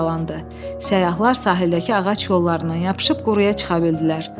Səyyahlar sahildəki ağac yollarından yapışıb quruya çıxa bildilər.